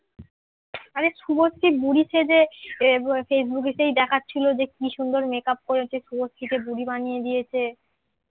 আরে শুভশ্রী বুড়ি সেজে এ ফেসবুকে সেই দেখাচ্ছিলো যে কি সুন্দর মেকআপ করেছে, শুভশ্রীকে বুড়ি বানিয়ে দিয়েছে।